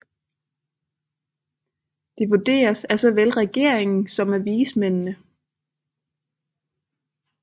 Det vurderes af såvel regeringen som af vismændene